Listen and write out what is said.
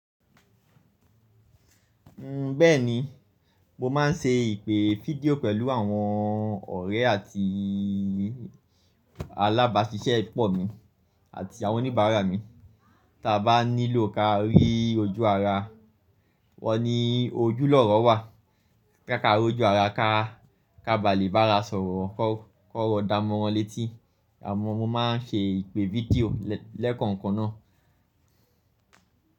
Bẹ́ẹ̀ni, mo máa ń se ìpè video pẹ̀lú àwọn ọ̀rẹ́ àti alábáṣiṣẹ́ pọ̀ mi àti àwọn oníbàárà mi. Tí bá nílò ká rí ojú ara wọn ní ojúlọ́rọ̀ wà, ká rí ojú ara ká, ká ba lè bára sọ̀rọ̀, kọ́rọ̀ dá mọ́ wọn létí. Àmọ́ mo máa ń se ìpè video lẹ́kànkan náà.